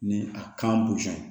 Ni a kan